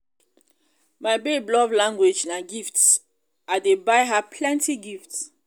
my babe love language na gifts i dey buy her plenty gifts.